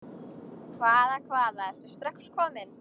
Hvaða, hvaða, ertu strax kominn?